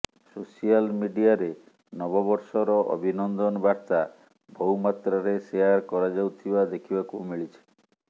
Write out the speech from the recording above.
social ମିଡିଆରେ ନବବର୍ଷର ଅଭିନନ୍ଦନ ବାର୍ତ୍ତା ବହୁ ମାତ୍ରାରେ ଶେୟାର କରାଯାଉଥିବା ଦେଖିବାକୁ ମିଳିିଛି